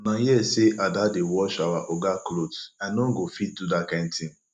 una hear say ada dey wash our oga cloth i no go fit do dat kin thing